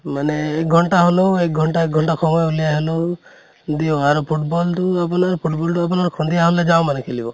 মানে এক ঘন্টা হʼলেও এক ঘন্টা এক ঘন্টা সময় উলিয়াই হʼলেও দিওঁ আৰু football টো আপোনাৰ football টো আপোনাৰ সন্ধিয়া হʼলে যাওঁ মানে খেলিব